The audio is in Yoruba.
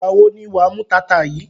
Ìgbà wo ni wà á mú taata yìí?